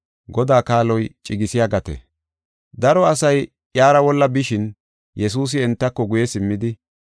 Daro asay iyara wolla bishin, Yesuusi entako guye simmidi,